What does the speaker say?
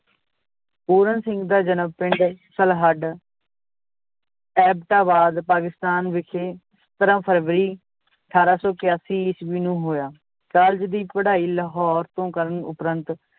ਪੂਰਨ ਸਿੰਘ ਦਾ ਜਨਮ ਪਿੰਡ ਸਲਹੱਡ ਐਬਟਾਬਾਦ ਪਾਕਿਸਤਾਨ ਵਿਖੇ ਸਤਰਾਂ ਫਰਵਰੀ ਅਠਾਰਾਂ ਸੌ ਕਿਆਸੀ ਈਸਵੀ ਨੂੰ ਹੋਇਆ l college ਦੀ ਪੜ੍ਹਾਈ ਲਾਹੌਰ ਤੋਂ ਕਰਨ ਉਪਰੰਤ